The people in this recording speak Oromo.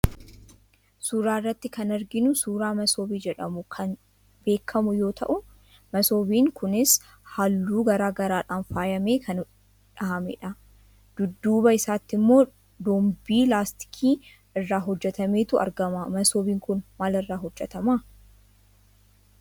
Suuraa irrattti kan arginu suuraa masoobii jedhamuun kan beekamuu yoo ta'u, masoobiin kunis halluu garaa garaadhaan faayamee kan dhahamedha. Dudduuba isaatti immoo dombii laastikii irraa hojjetametu argama. Masoobiin kun maal irraa hojjetama.